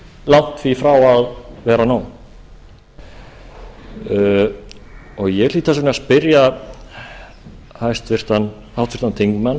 langt í frá að vera nóg ég hlýt þess vegna að spyrja háttvirtan þingmann